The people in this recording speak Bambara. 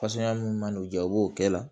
mun man'u jɔ u b'o kɛ la